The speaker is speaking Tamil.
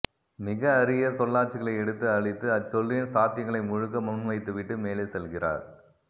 மிக அரிய சொல்லாட்சிகளை எடுத்து அளித்து அச்சொல்லின் சாத்தியங்களை முழுக்க முன்வைத்துவிட்டு மேலே செல்கிறார்